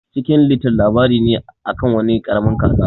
Chicken little labari ne akan wani karamin kaza.